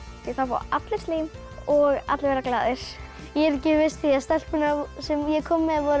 því þá fá allir slím og allir verða glaðir ég er ekki viss því stelpurnar sem ég kom með voru